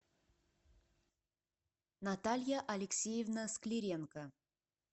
наталья алексеевна склиренко